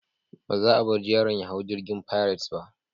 Ba za a bar yaron ya hau jirgin Pirates ba.